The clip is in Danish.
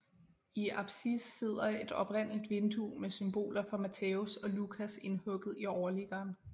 I apsis sidder et oprindeligt vindue med symboler for Matthæus og Lukas indhugget i overliggeren